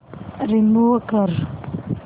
remove कर